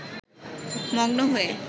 মগ্ন হয়ে